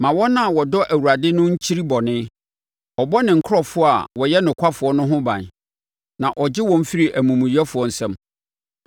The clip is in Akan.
Ma wɔn a wɔdɔ Awurade no nkyiri bɔne, ɔbɔ ne nkurɔfoɔ a wɔyɛ nokwafoɔ no ho ban na ɔgye wɔn firi amumuyɛfoɔ nsam.